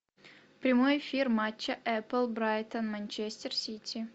прямой эфир матча апл брайтон манчестер сити